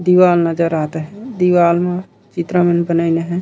दीवाल नज़र आत हे दीवाल म चित्रा मन बनइन हे।